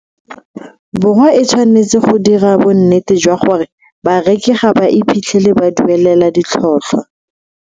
Borwa e tshwanetse go dira bonnete jwa gore bareki ga ba iphitlhele ba duelela ditlhotlhwa.